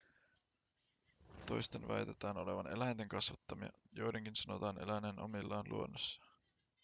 toisten väitetään olevan eläinten kasvattamia joidenkin sanotaan eläneen omillaan luonnossa